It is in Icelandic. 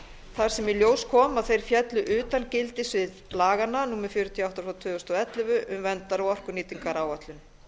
þar sem í ljós kom að þeir féllu utan gildissviðs laganna númer fjörutíu og átta tvö þúsund og ellefu um verndar og orkunýtingaráætlun